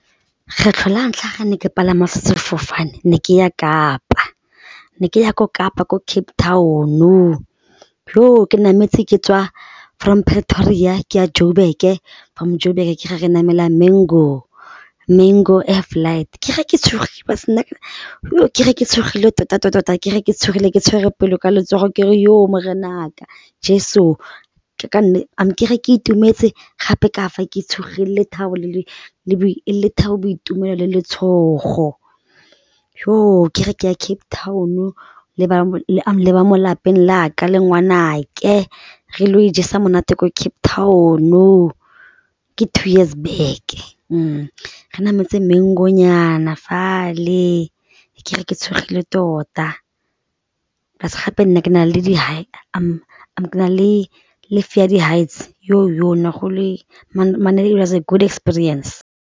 Kgetlho la ntlha ga ne ke palama sefofane ne ke ya Kapa, ne ke ya ko Kapa ko Cape Town-o ke nametse ke tswa from Pretoria ke ya Joburg-e from Joburg-e ke ga re Mango, Mango air-flight, ke ga ke tshogile ke ga ke tshogile tota-tota ke ga ke tshogile ke tshwere pelo ka letsogo ke re Morena'ka Jeso, ke fa ke itumetse gape ka fa ke tshogile e le lethabo, boitumelo le letshogo, ke ge ke ya Cape Town-o le ba mo lapeng la ka le ngwanake, re lo ijesa monate kwa Cape Town-o, ke two years back-e re nametse Mango-nyana fale, ke re ke tshogile tota, plus gape nna ke na le di high, ke na le le fear ya di-heights ne go it was a good experience.